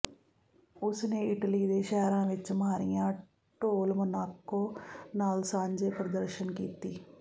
ਉਸ ਨੇ ਇਟਲੀ ਦੇ ਸ਼ਹਿਰਾਂ ਵਿਚ ਮਾਰੀਆ ਡੌਲ ਮੋਨਾਕੋ ਨਾਲ ਸਾਂਝੇ ਪ੍ਰਦਰਸ਼ਨ ਕੀਤੀ